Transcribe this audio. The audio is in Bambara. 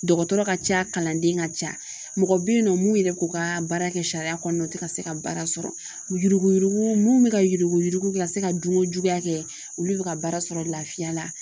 Dɔgɔtɔrɔ ka ca kalanden ka ca mɔgɔ bɛ yen nɔ mun yɛrɛ k'u ka baara kɛ sariya kɔnɔna na ka se ka baara sɔrɔ yuruguyurugu mun bɛ ka yuruguyurugu ka se ka dunkojuguya kɛ olu bɛ ka baara sɔrɔ lafiya la